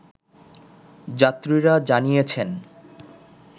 যাত্রীরা জানিয়েছেন